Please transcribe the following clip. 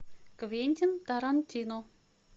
квентин тарантино